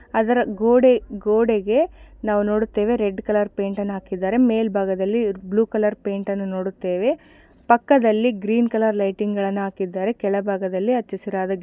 ಅದರ ಗೋಡೆ ಗೋಡೆಗೆ ನಾವು ನೋಡುತ್ತೇವೆ ರೆಡ್ ಕಲರ್ ಪೇಂಟನ್ನ ಹಾಕಿದಾರೆ ಅದರ ಮೇಲ್ಭಾಗದಲ್ಲಿ ಬ್ಲೂ ಕಲರ್ ಪೇಂಟನ್ನು ನೋಡುತ್ತೇವೆ ಪಕ್ಕದಲ್ಲಿ ಗ್ರೀನ್ ಕಲರ್ ಲೈಟಿಂಗ್ ಹಾಕಿದ್ದಾರೆ ಕೆಳಭಾಗದಲ್ಲಿ ಹಚ್ಚ ಹಸಿರಾದ --